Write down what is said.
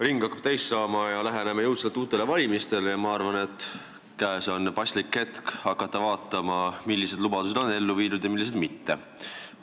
Ring hakkab täis saama, läheneme jõudsalt uutele valimistele ja ma arvan, et käes on paslik hetk hakata vaatama, millised lubadused on ellu viidud ja millised mitte.